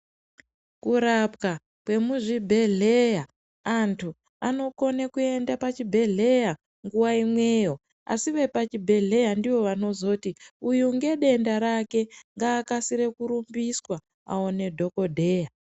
Kurapwa kemuzvibhedhlera antu anokone kuenda pachibhedhlera nguva imweyo asi vepachibhedhlera ndivo vanozoti uyu ngedenda rake ngaakasire kurumbiswa awone dhokotera .